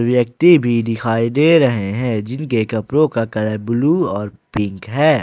व्यक्ति भी दिखाई दे रहे हैं जिनके कपड़ों का कलर ब्लू और पिंक है।